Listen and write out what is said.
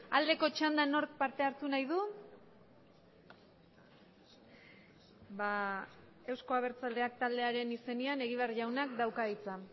aldeko txandan nork parte hartu nahi du euzko abertzaleak taldearen izenean egibar jaunak dauka hitza